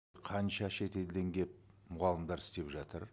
қанша шетелден келіп мұғалімдер істеп жатыр